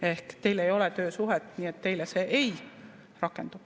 Ehk teil ei ole töösuhet, nii et teile see ei rakendu.